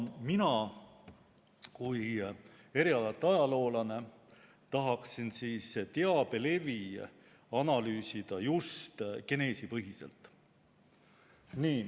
Mina kui erialalt ajaloolane tahaksin teabelevi analüüsida just geneesipõhiselt.